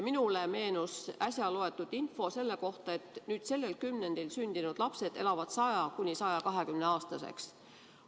Minule meenus äsja loetud info selle kohta, et nüüd sellel kümnendil sündinud lapsed elavad 100–120‑aastaseks.